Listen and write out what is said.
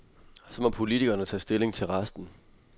Så må politikerne tage stilling til resten.